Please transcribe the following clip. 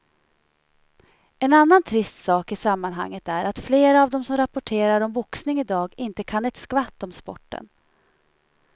En annan trist sak i sammanhanget är att flera av de som rapporterar om boxning i dag inte kan ett skvatt om sporten.